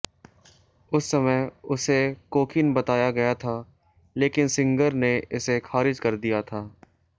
उस समय उसे कोकीन बताया गया था लेकिन सिंगर ने इसे खारिज कर दिया था